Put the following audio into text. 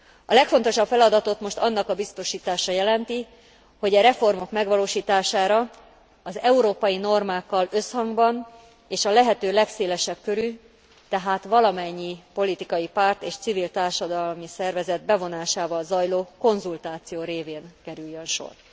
A legfontosabb feladatot most annak biztosítása jelenti, hogy a reformok megvalósítására az európai normákkal összhangban és a lehető legszélesebb körű, tehát valamennyi politikai párt és civil társadalmi szervezet bevonásával zajló konzultáció révén kerüljön sor.